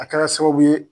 A kɛra sababu ye